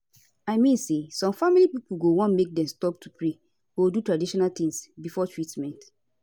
i mean say some family pipo go wan make dem stop to pray or do traditional tings before treatment